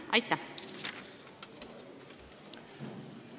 Aitäh!